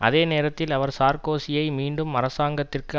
அதே நேரத்தில் அவர் சார்கோசியை மீண்டும் அரசாங்கத்திற்கு